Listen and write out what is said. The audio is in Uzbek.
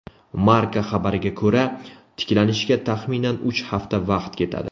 Marca xabariga ko‘ra , tiklanishga taxminan uch hafta vaqt ketadi.